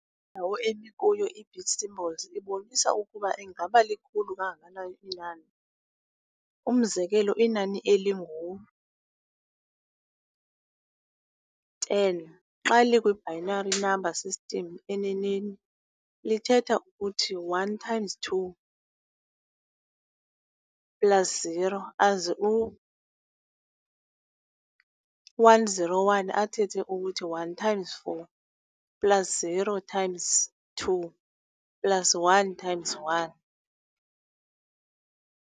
Indawo emi kuyo i-bit symbols ibonisa ukuba ingaba likhulu kangakanani na inani. umzekelo, inani elingu-10 xa likwi-binary number system, enenei lithetha ukuthi 1 times 2 plus 0, aze u-101 athethe ukuthi 1 times four plus 0 times two plus 1 times 1.